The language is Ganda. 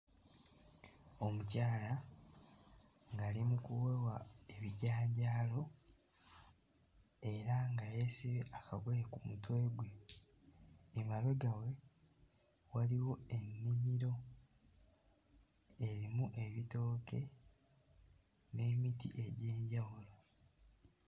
Omukyala ng'ali mu kuwewa ebijanjaalo era nga yeesibye akagoye ku mutwe gwe. Emabega we waliwo ennimiro erimu ebitooke n'emiti egy'enjawulo.